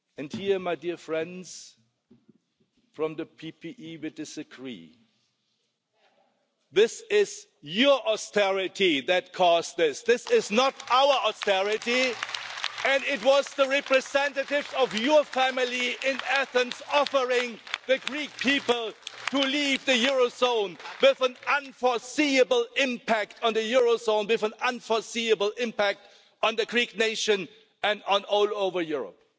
Here my dear friends from the PPE will disagree, but it is your austerity that caused this, it is not our austerity and it was the representatives of your family in Athens offering the Greek people to leave the Eurozone with an unforeseeable impact on the Eurozone, with an unforeseeable impact on the Greek nation and all over Europe.